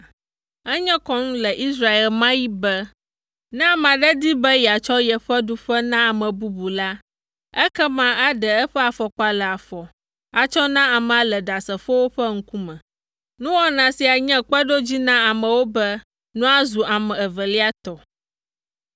Enye kɔnu le Israel ɣe ma ɣi be ne ame aɖe di be yeatsɔ yeƒe ɖuƒe na ame bubu la, ekema aɖe eƒe afɔkpa le afɔ atsɔ na amea le ɖasefowo ƒe ŋkume. Nuwɔna sia nye kpeɖodzi na amewo be nua zu ame evelia tɔ.